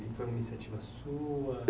Foi uma iniciativa sua?